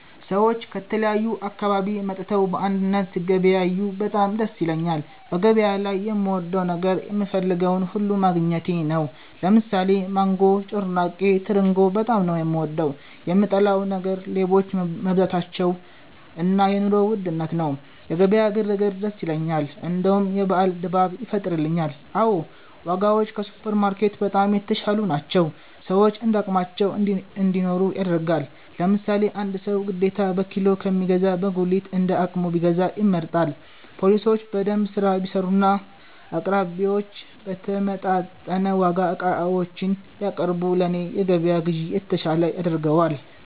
ሰዎች ከተለያዩ አካባቢ መጥተው በአንድነት ሲገበያዬ በጣም ደስ ይለኛል በገበያ ላይ የምወደው ነገር የምፈልገውን ሁሉ ማግኘቴ ነው። ለምሳሌ ማንጎ፤ ጮርናቄ፤ ትርንጎ በጣም ነው፤ የምወደው። የምጠላው ነገር ሌቦች መብዛታቸው እና የ ኑሮ ውድነት ነው። የገበያ ግር ግር ደስ ይለኛል እንደውም የበአል ድባብ ይፈጥርልኛል። አዎ ! ዋጋዎች ከሱፐር ማርኬት በጣም የተሻሉ ናቸው፤ ሰዎች እንዳቅማቸው እንዲኖሩ ያደርጋል። ለምሳሌ አንድ ሰው ግዴታ በኪሎ ከሚገዛ በጉሊት እንደ አቅሙ ቢገዛ ይመረጣል። ፓሊሶች በደንብ ስራ ቢሰሩና አቅራቢዮች በተመጣጠነ ዋጋ ዕቃዎችን ቢያቀርቡ ለኔ የገበያ ግዢ የተሻለ ያደርገዋል